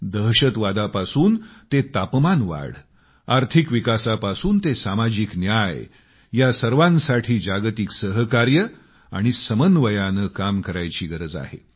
दहशतवादापासून ते जलवायू परिवर्तन आर्थिक विकासापासून ते सामाजिक न्याय या सर्वासाठी जागतिक सहकार्य आणि समन्वयाने काम करायची गरज आहे